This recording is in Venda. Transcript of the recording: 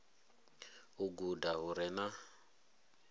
u guda hu re na